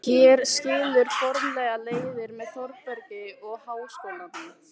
Hér skilur formlega leiðir með Þórbergi og Háskólanum.